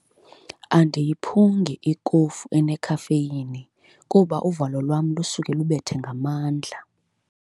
Andiyiphungi ikofu enekhafeyini kuba uvalo lwam lusuke lubethe ngamandla.